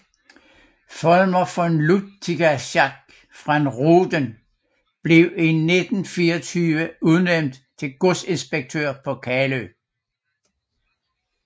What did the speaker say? Folmer von Lüttichau fra Rohden blev i 1924 udnævnt til godsinspektør på Kalø